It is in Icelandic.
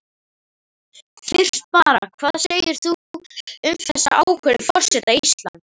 Fyrst bara, hvað segir þú um þessa ákvörðun forseta Íslands?